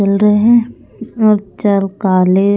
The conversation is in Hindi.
चल रहे हैं और चल काले--